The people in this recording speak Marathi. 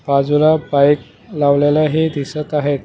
बाजूला बाईक लावलेला हे दिसत आहेत.